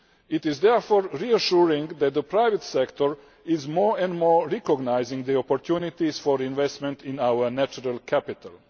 It is therefore reassuring that the private sector is more and more recognising the opportunities for investment in our natural capital.